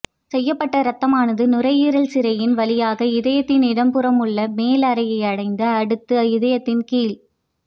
செய்யப்பட்ட ரத்தமானது நுரையீரல் சிரையின் வழியாக இதயத்தின் இடப்புறம் உள்ள மேல் அறையை அடைந்து அடுத்து இதயத்தின் கீழ்